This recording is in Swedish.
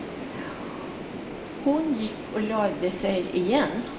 Hon gick och lade sig igen.